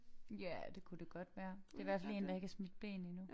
Ja det kunne det godt være det hvert fald én der ikke har smidt bleen endnu